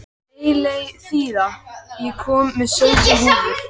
Eileiþía, ég kom með sautján húfur!